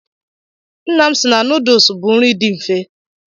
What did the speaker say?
Nna m si na nuduls bụ nri dị mfe.